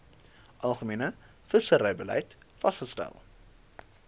algemene visserybeleid vasgestel